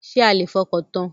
Ṣé a lè fọkàntan?